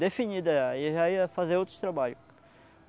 definida já, aí já ia fazer outros trabalho.